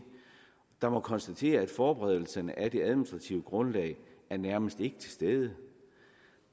der må konstatere at forberedelserne af det administrative grundlag nærmest ikke er til stede